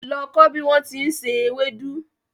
Lọ kọ́ bí wón ti ń se ewédú!